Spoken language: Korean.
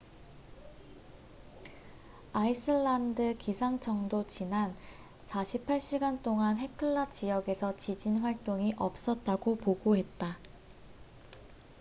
아이슬란드 기상청도 지난 48시간 동안 헤클라 지역에서 지진 활동이 없었다고 보고했다